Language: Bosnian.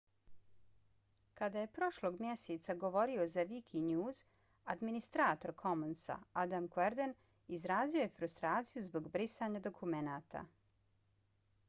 kada je prošlog mjeseca govorio za wikinews administrator commonsa adam cuerden izrazio je frustraciju zbog brisanja dokumenata